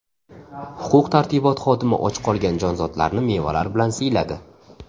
Huquq-tartibot xodimi och qolgan jonzotlarni mevalar bilan siyladi.